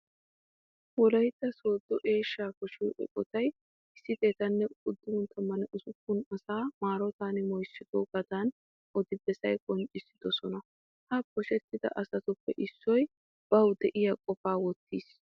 Wolaytta Sooddo eeshshaa poshiyo eqotay 196 asaa maarotan moyssoogaadan odi bessan qonccissidosona. He poshetta asatuppe issoy bawu diya qofaa wottees.